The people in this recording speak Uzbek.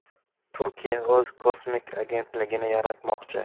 Turkiya o‘z kosmik agentligini yaratmoqchi.